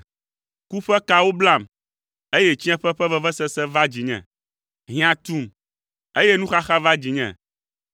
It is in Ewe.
Ku ƒe kawo blam, eye tsiẽƒe ƒe vevesese va dzinye. Hiã tum, eye nuxaxa va dzinye.